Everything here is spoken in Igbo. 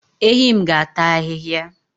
Ehi m ga-ata ahihia